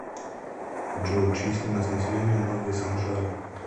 джой численность населения новые санжары